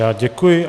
Já děkuji.